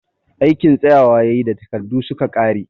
Aikin tsayawa ya yi da takardu su ka ƙare